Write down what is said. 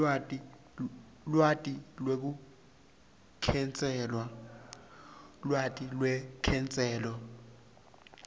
lwati lwelukhetselo